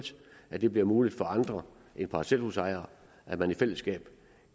at det bliver muligt for andre end parcelhusejere at man i fællesskab